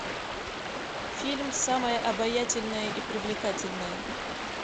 фильм самая обаятельная и привлекательная